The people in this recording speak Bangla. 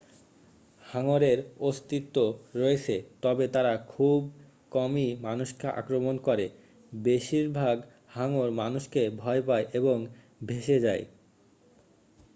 হাঙ্গরের অস্তিত্ব রয়েছে তবে তারা খুব কমই মানুষকে আক্রমণ করে বেশিরভাগ হাঙ্গর মানুষকে ভয় পায় এবং ভেসে যায়